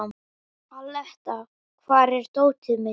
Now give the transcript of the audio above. Aletta, hvar er dótið mitt?